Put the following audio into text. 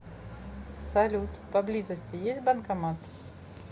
салют по близости есть банкомат